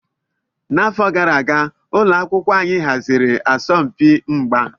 N'afọ gara aga, ụlọ akwụkwọ anyị haziri asọmpi mgba.